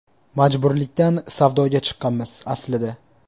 Majburlikdan savdoga chiqqanmiz, aslida.